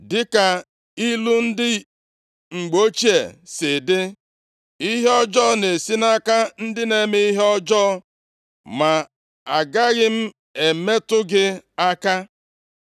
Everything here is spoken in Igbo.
Dịka ilu ndị mgbe ochie si dị, ‘Ihe ọjọọ na-esi nʼaka ndị na-eme ihe ọjọọ,’ ma agaghị m emetụ gị aka.